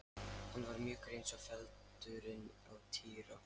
Hann var mjúkur eins og feldurinn á Týra.